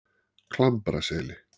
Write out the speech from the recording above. Klambraseli